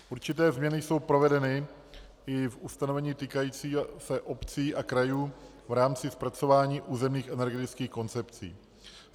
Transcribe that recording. Určité změny jsou provedeny i v ustanovení týkajícím se obcí a krajů v rámci zpracování územních energetických koncepcí.